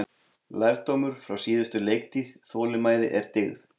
Lærdómur frá síðustu leiktíð: Þolinmæði er dyggð.